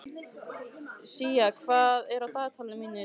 Sía, hvað er á dagatalinu mínu í dag?